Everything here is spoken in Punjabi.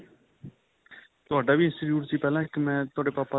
ਤੁਹਾਡਾ ਵੀ institute ਸੀ ਪਹਿਲਾਂ ਇੱਕ ਮੈਂ ਤੁਹਾਡੇ ਪਾਪਾ ਦਾ.